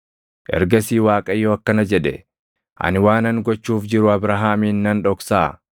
Ergasii Waaqayyo akkana jedhe; “Ani waanan gochuuf jiru Abrahaamin nan dhoksaa?